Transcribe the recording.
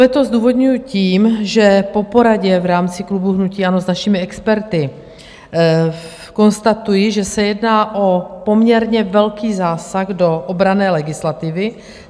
Veto zdůvodňuji tím, že po poradě v rámci klubu hnutí ANO s našimi experty konstatuji, že se jedná o poměrně velký zásah do obranné legislativy.